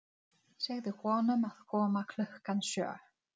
Finnst þér gaman að veiða fisk?